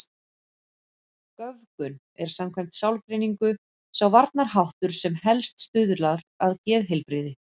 Göfgun er samkvæmt sálgreiningu sá varnarháttur sem helst stuðlar að geðheilbrigði.